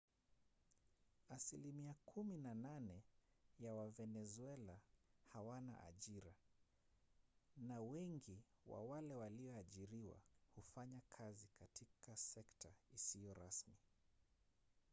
asilimia kumi na nane ya wavenezuela hawana ajira na wengi wa wale walioajiriwa hufanya kazi katika sekta isiyo rasmi